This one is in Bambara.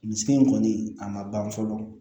Nin so in kɔni a ma ban fɔlɔ